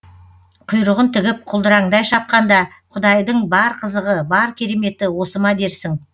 құйрығын тігіп құлдыраңдай шапқанда құдайдың бар қызығы бар кереметі осы ма дерсің